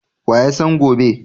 Wa ya san gobe?